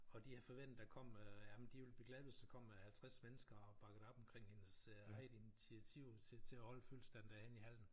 Og de havde forventet der kom øh jamen de ville blive glade hvis der kom øh 50 mennesker og bakkede op omkring hendes øh eget initiativ til til at holde fødselsdag derhenne i hallen